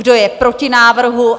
Kdo je proti návrhu?